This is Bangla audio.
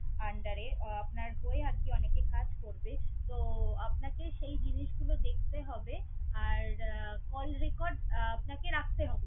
under এ। আপনার হয়ে আরকি অনেকে কাজ করবে তো, আপনাকে সেই জিনিসগুলো দেখতে হবে আর call record আপনাকে রাখতে হবে।